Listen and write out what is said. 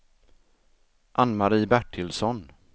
Ann-Marie Bertilsson